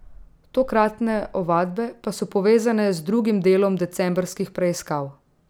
Tokratne ovadbe pa so povezane z drugim delom decembrskih preiskav.